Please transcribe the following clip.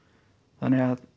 þannig að